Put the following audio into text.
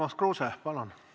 Urmas Kruuse, palun!